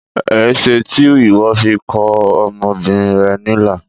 Ẽṣe ti iwọ fi kọ ọmọbinrin rẹ nilà?